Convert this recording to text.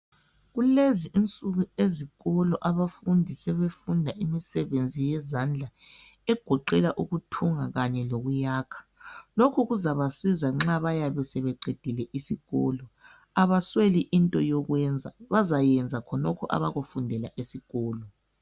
Kulezi insuku ezikolo abafundi sebefunda imisebenzi yezandla egoqela ukuthunga kanye lokuyakha. Lokhu kuzabasiza nxa bayabe sebeqedile isikolo. Abasweli into yokwenza, bazayenza khonokho abakufundela esikolo.